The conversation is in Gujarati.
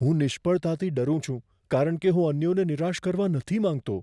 હું નિષ્ફળતાથી ડરું છું કારણ કે હું અન્યોને નિરાશ કરવા નથી માંગતો.